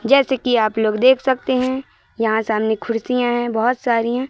जैसे कि आप लोग यहां देख सकते हैं यहां सामने कुर्सियां है बहोत सारी हैं।